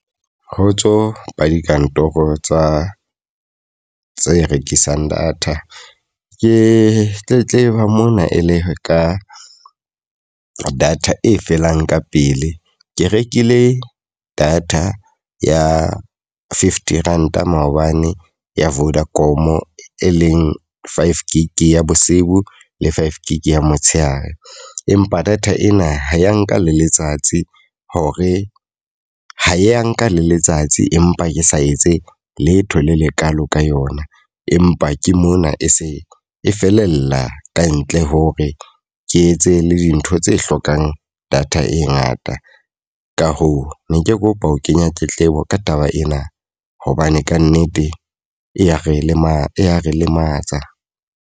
Kgotso, ba dikantoro tsa tse rekisang data. Ke tletleba mona e le ka data e felang ka pele. Ke rekile data ya fifty Ranta maobane ya Vodacom, e leng five gig ya bosibu, le five gig ya motshehare. Empa data ena ha ya nka le letsatsi hore ho ya nka le letsatsi empa ke sa etse letho le lekalo ka yona. Empa ke mona e se e felella kantle hore ke etse le dintho tse hlokang data e ngata. Ka hoo, ne ke kopa ho kenya tletlebo ka taba ena. Hobane ka nnete e ya re lema e ya re lematsa.